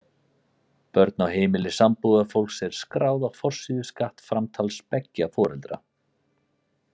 Börn á heimili sambúðarfólks eru skráð á forsíðu skattframtals beggja foreldra.